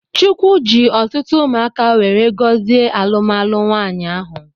Chukwu ji ọtụtụ umụaka weree gozie alụmalụ nwanyi ahụ.